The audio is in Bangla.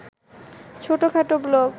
ছোটখাটো ব্লক